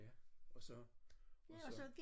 Ja og så og så